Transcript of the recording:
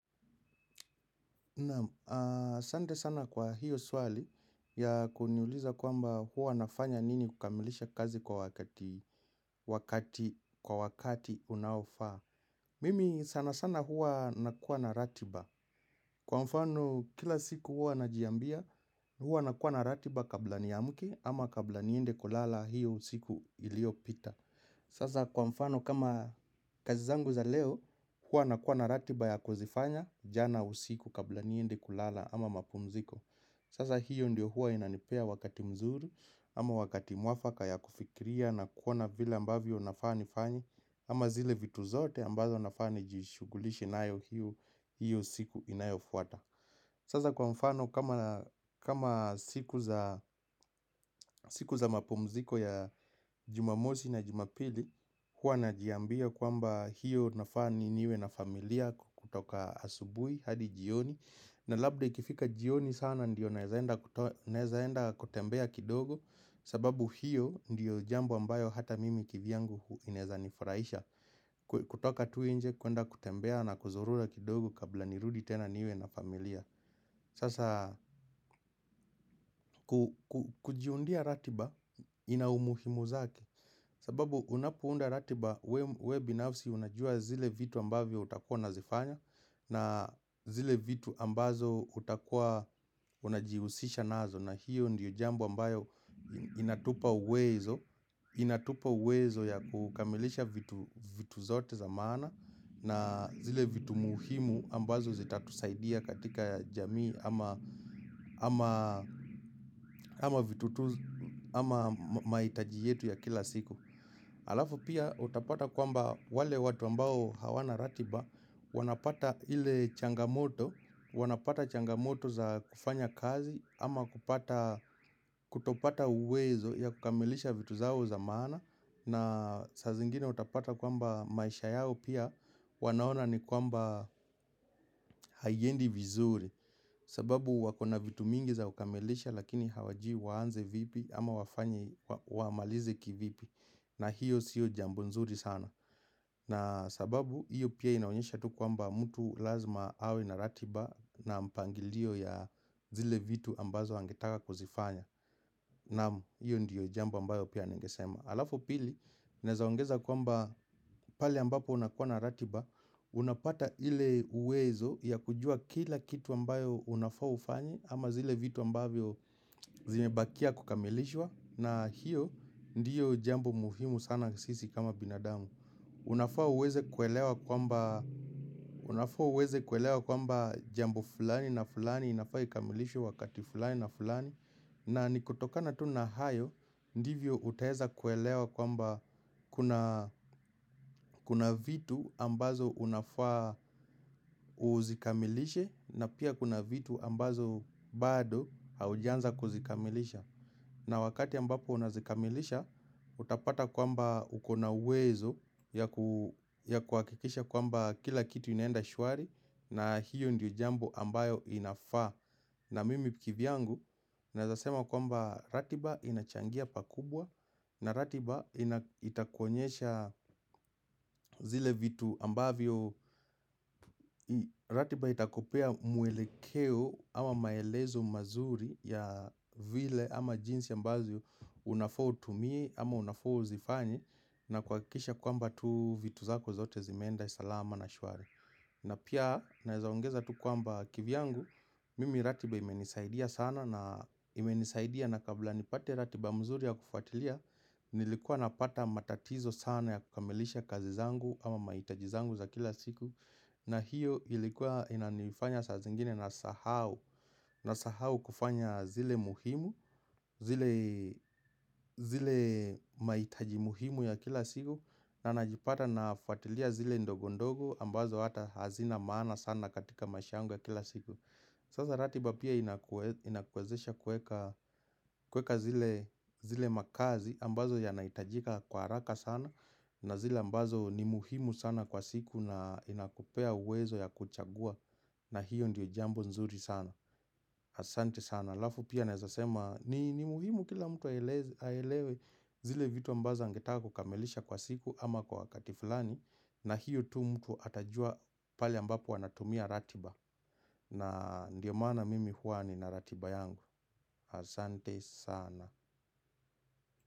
Naam asante sana kwa hiyo swali ya kuniuliza kwamba huwa nafanya nini kukamilisha kazi kwa wakati unaofaa. Mimi sana sana huwa nakuwa na ratiba. Kwa mfano kila siku huwa najiambia huwa nakuwa na ratiba kabla nismke ama kabla niende kulala hiyo siku ilio pita. Sasa kwa mfano kama kazi zangu za leo hua nakuwa na ratiba ya kuzifanya jana usiku kabla niende kulala ama mapumziko. Sasa hiyo ndio hua inanipea wakati mzuri ama wakati mwafaka ya kufikiria na kuona vila ambavyo nafaa nifanye ama zile vitu zote ambazo nafani jishugulishi nayo hiyo siku inayo fuata. Sasa kwa mfano. Kama siku za mapumziko ya jumamosi na jumapili hua najiambia kwamba hiyo nafani niwe na familia kutoka asubui hadi jioni na labda ikifika jioni sana ndiyo naezaenda kutembea kidogo. Sababu hiyo ndiyo jambo ambayo hata mimi kivyangu ineza nifraisha. Kutoka tuinje kuenda kutembea na kuzurula kidogo kabla nirudi tena niwe na familia Sasa. Kujiundia ratiba ina umuhimu zake. Sababu unapounda ratiba we binafsi unajua zile vitu ambavyo utakua nazifanya. Na zile vitu ambazo utakua unajiusisha nazo na hiyo ndiyo jambo ambayo inatupa uwezo. Inatupa uwezo ya kukamilisha vitu zote zamana na zile vitu muuhimu ambazo zitatusaidia katika jamii ama maitaji yetu ya kila siku. Alafu pia utapata kwamba wale watu ambao hawana ratiba Wanapata ile changamoto Wanapata changamoto za kufanya kazi ama kupata. Kutopata uwezo ya kukamilisha vitu zao zamana. Na sazingine utapata kwamba maisha yao pia. Wanaona ni kwamba haiendi vizuri. Sababu wakona vitu mingi za ukamilisha Lakini hawajui waanze vipi ama wafanye wa malize kivipi. Na hiyo siyo jambonzuri sana. Na sababu hiyo pia inaonyesha tu kwa mba mtu lazima awe na ratiba na mpangilio ya zile vitu ambazo angetaka kuzifanya Naam, hiyo ndiyo jamba ambayo pia ningesema Alafu pili, nezaongeza kwa mba pale ambapo unakua na ratiba. Unapata ile uwezo ya kujua kila kitu ambayo unafaa ufanye ama zile vitu ambavyo zimebakia kukamilishwa na hiyo ndiyo jambo muhimu sana sisi kama binadamu. Unafaa uweze kuelewa kwamba jambo fulani na fulani inafaa ikamilishwe wakati fulani na fulani. Na nikutoka natu na hayo. Ndivyo utaeza kuelewa kwamba kuna vitu ambazo unafaa uzikamilishe na pia kuna vitu ambazo bado haujanza kuzikamilisha. Na wakati ambapo unazikamilisha. Utapata kwamba ukona wezo ya kuakikisha kwamba kila kitu inaenda shuari. Na hiyo ndiyo jambo ambayo inafa. Na mimi kivyangu nazasema kwamba ratiba inachangia pakubwa. Na ratiba itakuonyesha zile vitu ambavyo ratiba itakupea mwelekeo ama maelezo mazuri ya vile ama jinsi ambazo unafaa utumie ama unafaa uzifanye. Nakuhakikisha kwamba tu vitu zako zote zimenda salama na shuari na pia na zaongeza tu kwamba kivyangu. Mimi ratiba imenisaidia sana na imenisaidia na kabla nipate ratiba mzuri ya kufuatilia. Nilikuwa napata matatizo sana ya kukamilisha kazi zangu ama maitajizangu za kila siku. Na hiyo ilikuwa inanifanya sa zingine na sahau kufanya zile muhimu. Zile maitaji muhimu ya kila siku. Na najipata na fuatilia zile ndogondogo ambazo hata hazina maana sana katika maishangu ya kila siku. Saza ratiba pia inakwezesha kweka zile makazi ambazo yanaitajika kwa haraka sana. Na zile ambazo ni muhimu sana kwa siku na inakupea uwezo ya kuchagua. Na hiyo ndiyo jambo nzuri sana. Asante sana Lafu pia nezasema ni muhimu kila mtu aelewe zile vitu ambazo angetaka kukamilisha kwa siku ama kwa wakati fulani. Na hiyo tu mtu atajua pali ambapo anatumia ratiba na ndiyo mana mimi huani na ratiba yangu Asante sana.